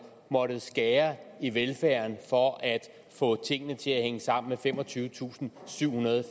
måttet skære i velfærden for at få tingene til at hænge sammen med femogtyvetusinde og syvhundrede